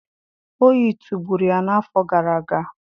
Oyi tụgburu ya n'afọ gara aga.